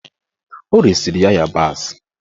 Ọ resiri ya ịyabasị.